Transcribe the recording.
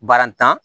Barantan